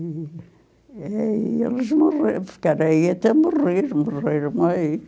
E aí eles morreram, ficaram aí até morrer, morreram aí.